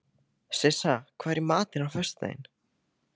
Sissa, hvað er í matinn á föstudaginn?